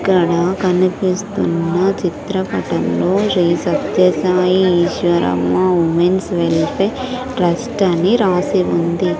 ఇక్కడ కనిపిస్తున్న చిత్ర పటం లో Shri Sathya Sai Easwaramma women's welfare trust అని రాసి ఉంది.